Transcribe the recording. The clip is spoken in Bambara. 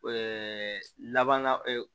laban na